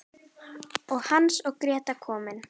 Og Hans og Gréta komin!